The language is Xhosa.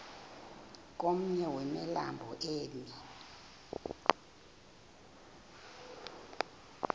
komnye wemilambo emi